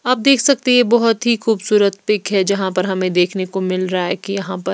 आप देख सकते हैं ये बहुत ही खूबसूरत पिक है जहां पर हमें देखने को मिल रहा है कि यहां पर--